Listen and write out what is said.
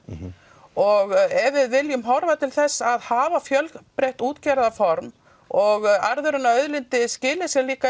og ef við viljum horfa til þess að hafa fjölbreytt útgerðarform og arðurinn af auðlindinni skili sér líka